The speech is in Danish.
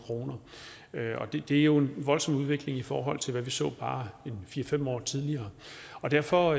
kr og det er jo en voldsom udvikling i forhold til det vi så bare fire fem år tidligere derfor